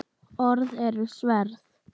Orð eru sverð.